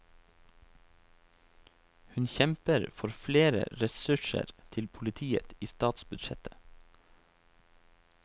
Hun kjemper for flere ressurser til politiet i statsbudsjettet.